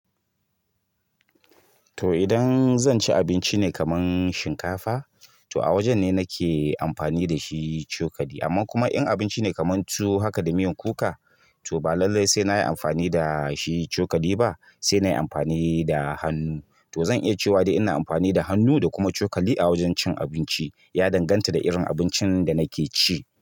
To idan zan ci abinci ne kaman shinkafa, to a wajen ne nake amfani da shi cokali. Amma kuma in abinci ne kamar tuwo haka da miyan kuka, to ba lallai sai na yi amfani da shi cokali ba, sai na yi amfani da hannu. To zan iya cewa dai ina amfani da hannu da kuma cokali a wajen cin abinci, ya danganta da irin abincin da nake ci.